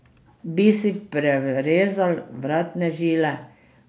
Bi si prerezal vratne žile?